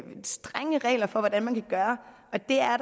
strenge regler for hvordan man kan gøre og det er